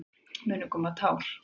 Munu koma tár?